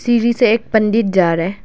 सीढ़ी से एक पंडित जा रहा है।